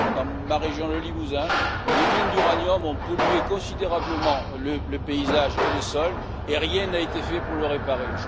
Dans ma région, le Limousin, les mines d'uranium ont pollué considérablement le paysage et les sols et rien n'a été fait pour les réparer.